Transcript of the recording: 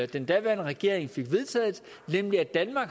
den daværende regering fik vedtaget nemlig at danmark